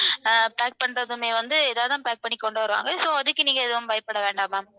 அஹ் pack பண்றதுமே வந்து இதா தான் pack பண்ணி கொண்டு வருவாங்க so அதுக்கு நீங்க எதுவும் பயப்பட வேண்டாம் ma'am